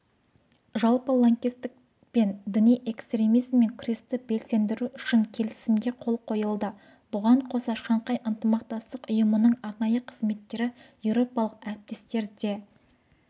жалпы лаңкестік пен діни экстремизмен күресті белсендіру үшін келісімге қол қойылды бұған қоса шанхай ынтымақтастық ұйымының арнайы қызметтері еуропалық әріптестерімен де